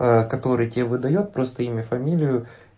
который тебе выдаёт просто имя фамилию